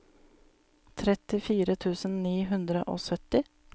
trettifire tusen ni hundre og sytti